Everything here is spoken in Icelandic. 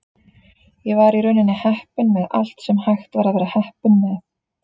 Ég var í rauninni heppinn með allt sem hægt var að vera heppinn með.